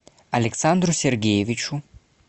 александру сергеевичу